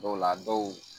Dɔw la dɔw